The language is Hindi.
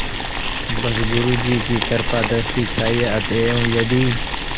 बस गुरु जी की कृपादृष्टि चाहिए अतएव यदि